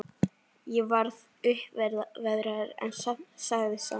Ég varð uppveðraður, en sagði samt